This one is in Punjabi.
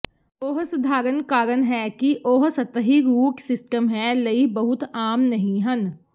ਉਹ ਸਧਾਰਨ ਕਾਰਨ ਹੈ ਕਿ ਉਹ ਸਤਹੀ ਰੂਟ ਸਿਸਟਮ ਹੈ ਲਈ ਬਹੁਤ ਆਮ ਨਹੀ ਹਨ